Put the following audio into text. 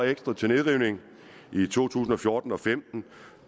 ekstra til nedrivning i to tusind og fjorten og femten